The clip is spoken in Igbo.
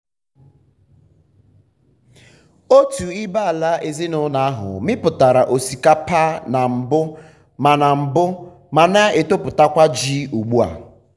otu ibé-ala ezinụlọ ahụ mipụtara osikapa na mbụ ma na mbụ ma na-etoputakwa ji ugbu a.